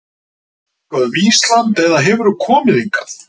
Veistu eitthvað um Ísland eða hefurðu komið hingað?